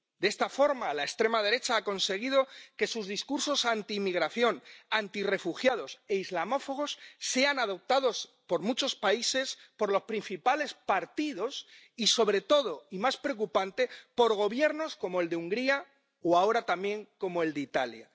De esta forma, la extrema derecha ha conseguido que sus discursos antiinmigración, antirrefugiados e islamófobos sean adoptados en muchos países por los principales partidos y, sobre todo y más preocupante, por gobiernos como el de Hungría o ahora también como el de Italia.